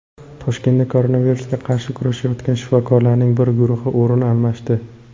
Toshkentda koronavirusga qarshi kurashayotgan shifokorlarning bir guruhi o‘rin almashdi.